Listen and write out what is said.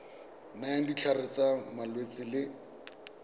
nayang ditlhare tsa malwetse le